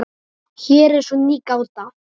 Hér er svo ný gáta.